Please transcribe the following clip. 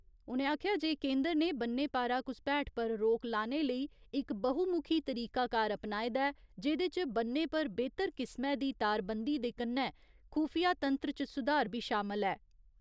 उ'नें आखेआ जे केंदर ने बन्ने पारा घुसपैठ पर रोक लाने लेई इक बहुमुखी तरीकाकार अपनाए दा ऐ जेह्‌दे च ब'न्ने पर बेह्‌तर किस्मै दी तारबन्दी ते कन्नै खुफिया तंत्र च सुधार बी शामल ऐ।